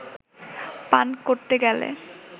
পান করতে গেলে